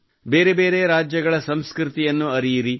ಬೇರೆ ಬೇರೆ ರಾಜ್ಯಗಳ ಸಂಸ್ಕೃತಿಯನ್ನು ಅರಿಯಿರಿ